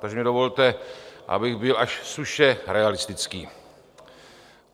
Takže mi dovolte, abych byl až suše realistický.